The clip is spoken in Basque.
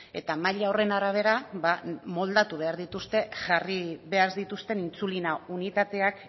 eta maila horren arabera moldatu behar dituzte jarri behar dituzten intsulina unitateak